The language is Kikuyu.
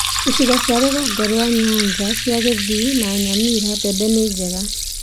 Icigo cia rũgongo rwa Nyanza cia Kisii na Nyamira mbembe ni njega